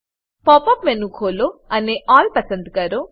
pop up menu ખોલો અને all પસંદ કરો